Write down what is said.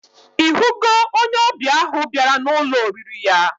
Ihugo onye obia ahu biara na Ụlọ oriri ya?